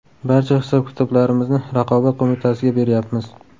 Barcha hisob-kitoblarimizni Raqobat qo‘mitasiga beryapmiz.